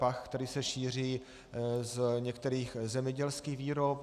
Pach, který se šíří z některých zemědělských výrob.